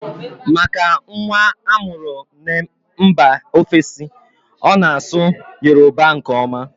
Maka nwa amuru n'mba ofesi, ọ na asụ Yoruba nke oma